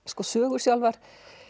sögur sjálfar